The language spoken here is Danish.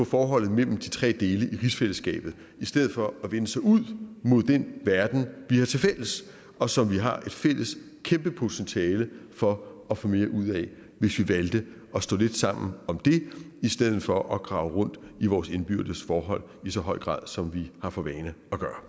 forholdet mellem de tre dele af rigsfællesskabet i stedet for at vende sig ud mod den verden vi har tilfælles og som vi har et fælles kæmpe potentiale for at få mere ud af hvis vi valgte at stå lidt sammen om det i stedet for at grave rundt i vores indbyrdes forhold i så høj grad som vi har for vane